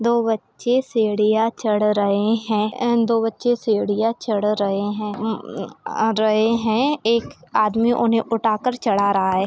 दो बच्चे सीढ़ियाँ चढ़ रहे है एंड दो बच्चे सीढ़ियाँ चढ़ रहे है रहे है एक आदमी उन्हें उठाकर चढ़ा रहा है।